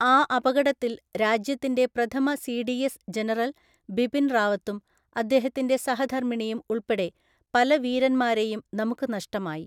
ആ അപകടത്തില്‍ രാജ്യത്തിന്‍റെ പ്രഥമ സിഡിഎസ്സ് ജനറല്‍ ബിപിന്‍ റാവത്തും അദ്ദേഹത്തിന്‍റെ സഹധര്‍മ്മിണിയും ഉള്‍പ്പെടെ പല വീരന്മാരെയും നമുക്ക് നഷ്ടമായി.